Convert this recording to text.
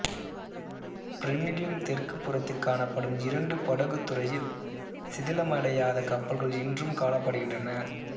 pyrimidine தெற்குப் புறத்தில் கானப்படும் இரண்டு படகுத்துறையில் சிதிலமடையாத கப்பல்கள் இன்றும் கானப்படுகின்றன